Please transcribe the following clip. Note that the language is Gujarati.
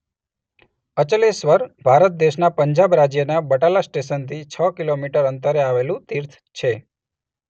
અચલેશ્વર ભારત દેશના પંજાબ રાજ્યના બટાલા સ્ટેશનથી છ કિલોમીટર અંતરે આવેલું તીર્થ છે.